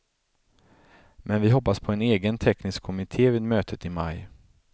Men vi hoppas på en egen teknisk kommitté vid mötet i maj.